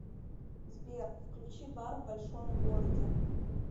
сбер включи бар в большом городе